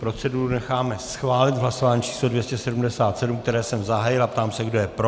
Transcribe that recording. Proceduru necháme schválit v hlasování číslo 277, které jsem zahájil, a ptám se, kdo je pro.